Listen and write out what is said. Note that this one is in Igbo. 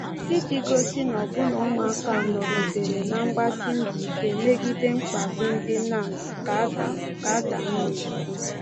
“Iji gosi na ọbụna ụmụaka nọgidere na-agbasi mbọ ike megide mkpagbu ndị Nazi ,” ka Adam ,” ka Adam na-ekwu.